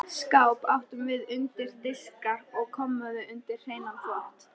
Skáp áttum við undir diska og kommóðu undir hreinan þvott.